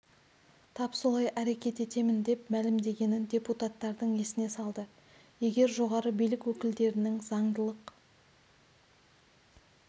тап солай әрекет етемін деп мәлімдегенін депутаттардың есіне салды егер жоғары билік өкілдерінің заңдылық